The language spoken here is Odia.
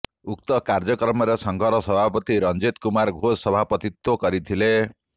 ଉକ୍ତ କାର୍ଯ୍ୟକ୍ରମରେ ସଂଘର ସଭାପତି ରଞ୍ଜିତ୍ କୁମାର ଘୋଷ ସଭାପତିତ୍ୱ କରିଥିଲେ